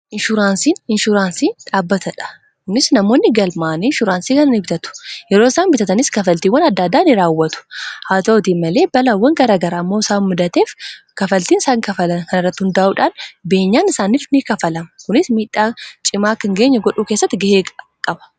inshns inshuraansii dhaabbatadha unis namoonni galmaanii inshuraansii kanan ibitatu yeroo isaan bitatanis kafaltiiwwan adda addaaini raawwatu haa ta'utii malee balawwan garaagara ammoo saamuddateef kafaltiin isaan kafala kanrrau hundaa'uudhaan beenyaan isaanif ni kafalama kunis miidhaa cimaa kangeenya godhuu keessatti ga'ee qaba